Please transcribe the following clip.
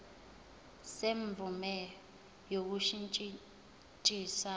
semvume yokushintshisana kwinxusa